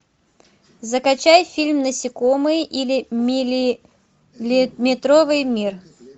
закачай фильм насекомые или миллиметровый мир